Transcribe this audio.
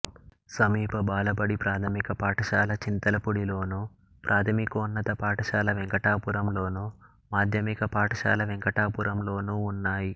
సమీప బాలబడి ప్రాథమిక పాఠశాల చింతలపూడిలోను ప్రాథమికోన్నత పాఠశాల వెంకటాపురంలోను మాధ్యమిక పాఠశాల వెంకటాపురంలోనూ ఉన్నాయి